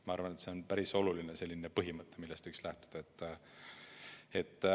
Ma arvan, et see on selline päris oluline põhimõte, millest võiks lähtuda.